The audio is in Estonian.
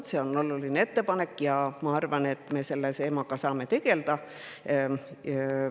Aga see on oluline ettepanek ja ma arvan, et me saame selle teemaga tegelda.